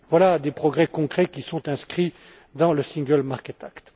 Voilà des progrès concrets qui sont inscrits dans le single market act.